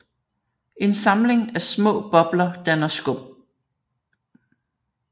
En samling af små bobler danner skum